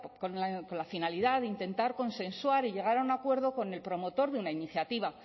con la finalidad de intentar consensuar y llegar a un acuerdo con el promotor de una iniciativa